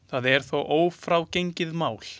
Það er þó ófrágengið mál.